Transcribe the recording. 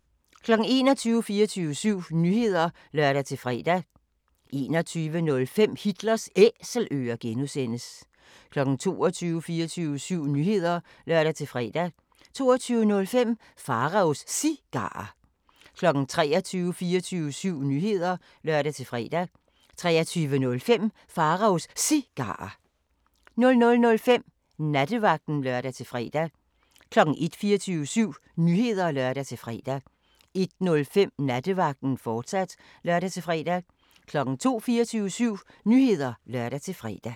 21:00: 24syv Nyheder (lør-fre) 21:05: Hitlers Æselører (G) 22:00: 24syv Nyheder (lør-fre) 22:05: Pharaos Cigarer 23:00: 24syv Nyheder (lør-fre) 23:05: Pharaos Cigarer 00:05: Nattevagten (lør-fre) 01:00: 24syv Nyheder (lør-fre) 01:05: Nattevagten, fortsat (lør-fre) 02:00: 24syv Nyheder (lør-fre)